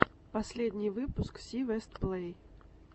последний выпуск си вест плей